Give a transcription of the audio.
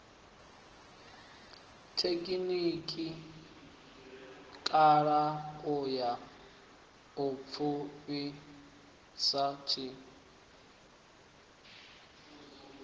thekhinikhala ha u pfukhisa nd